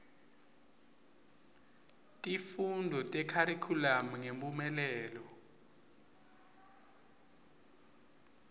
tifundvo tekharikhulamu ngemphumelelo